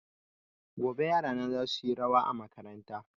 Gobe yarana za su yi rawa a makaranta